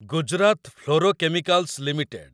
Gujarat fluorochemicals limited